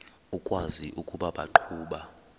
ukwazi ukuba baqhuba